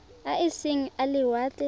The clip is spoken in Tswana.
a e seng a lewatle